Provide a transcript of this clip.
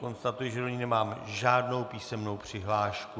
Konstatuji, že do ní nemám žádnou písemnou přihlášku.